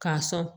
K'a sɔn